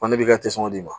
Banni bɛ ka d'i ma